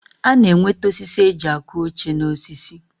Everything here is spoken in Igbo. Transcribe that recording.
A na-enwete osisi e ji akụ oche N'osisi.